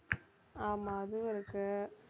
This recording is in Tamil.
ஆமா அதுவும் இருக்கு